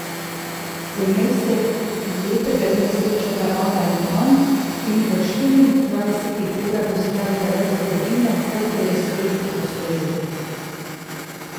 V njej se lepega dne srečata ona in on in v štiriindvajsetih urah ustvarita več zgodovine, kot je je svet v sto letih.